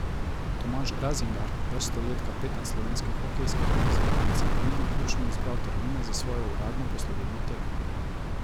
Tomaž Razingar, vrsto let kapetan slovenske hokejske reprezentance, pa ni naključno izbral termina za svojo uradno poslovilno tekmo.